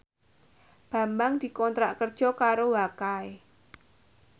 Bambang dikontrak kerja karo Wakai